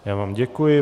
Já vám děkuji.